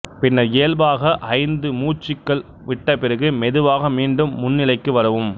பின்னர் இயல்பாக ஐந்து மூச்சுக்கள் விட்ட பிறகு மெதுவாக மீண்டும் முன்நிலைக்கு வரவும்